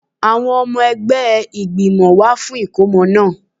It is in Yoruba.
Àwọn ọmọ ẹgbẹ́ ìgbìmọ̀ wá fún ìkómọ náà